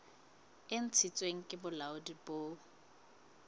e ntshitsweng ke bolaodi bo